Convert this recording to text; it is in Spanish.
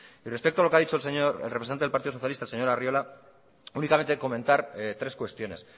respecto a lo que ha dicho el representante del partido socialista el señor arriola únicamente comentar tres cuestiones